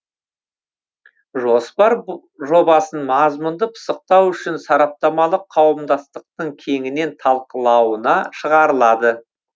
жоспар жобасын мазмұнды пысықтау үшін сараптамалық қауымдастықтың кеңінен талқылауына шығарылады